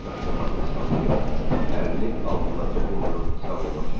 Qaşqabağını sallayıb əlini alnına toxundurub sağollaşıdı.